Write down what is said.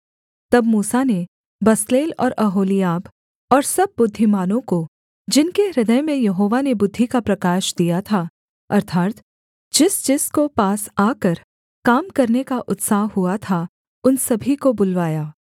तब मूसा ने बसलेल और ओहोलीआब और सब बुद्धिमानों को जिनके हृदय में यहोवा ने बुद्धि का प्रकाश दिया था अर्थात् जिसजिसको पास आकर काम करने का उत्साह हुआ था उन सभी को बुलवाया